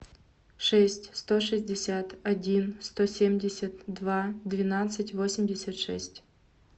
шесть сто шестьдесят один сто семьдесят два двенадцать восемьдесят шесть